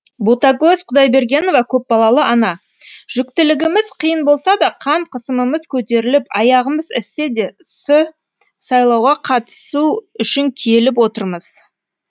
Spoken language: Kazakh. ботагөз құдайбергенова көпбалалы ана жүктілігіміз қиын болса да қан қысымымыз көтеріліп аяғымыз іссе де сайлауға қатысу үшін келіп отырмыз